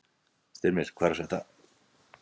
Styrmir, hvað er að frétta?